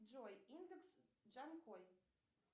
джой индекс джанкой